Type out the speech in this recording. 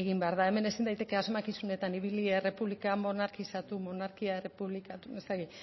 egin behar da hemen ezin daiteke asmakizunetan ibili errepublika monarkizatu monarkia errepublikatu ez dakit